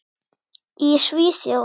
Í Svíþjóð